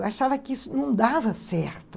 Eu achava que isso não dava certo.